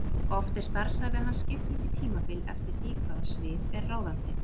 Oft er starfsævi hans skipt upp í tímabil eftir því hvaða svið er ráðandi.